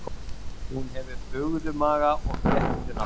Hún hefur bugðumaga og fléttunafla.